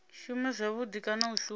shume zwavhudi kana u shuma